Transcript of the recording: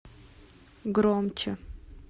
громче